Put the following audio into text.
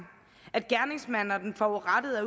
at gerningsmanden og den forurettede